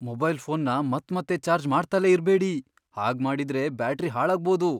Mobile ಫೋನ್ನ ಮತ್ಮತ್ತೆ charge ಮಾಡ್ತಲೇ ಇರ್ಬೇಡಿ, ಹಾಗ್ಮಾಡಿದ್ರೆ ಬ್ಯಾಟರಿ ಹಾಳಾಗ್ಬೋದು.